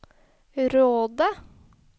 Råde